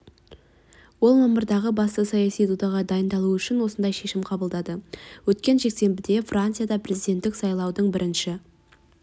ол мамырдағы басты саяси додаға дайындалу үшін осындай шешім қабылдады өткен жексенбіде францияда президенттік сайлаудың бірінші